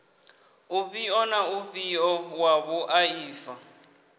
ufhio na ufhio wa vhuaifa